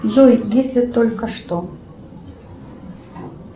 джой если только что